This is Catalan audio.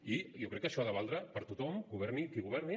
i jo crec que això ha de valdre per a tothom governi qui governi